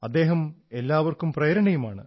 and he is inspiration for all